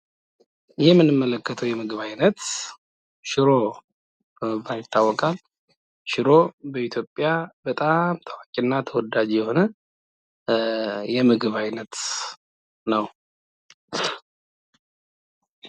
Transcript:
ይህ የምንመለከተው የምግብ አይነት ሽሮ በመባል ይታወቃል:: ሽሮ በኢትዮጵያ በጣም ታዋቂ እና ተወዳጅ የሆነ የምግብ አይነት ነው::